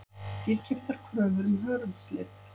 Dýrkeyptar kröfur um hörundslit